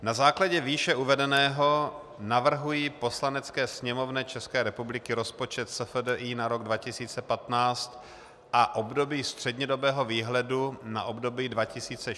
Na základě výše uvedeného navrhuji Poslanecké sněmovně České republiky rozpočet SFDI na rok 2015 a období střednědobého výhledu na období 2016 a 2017 schválit.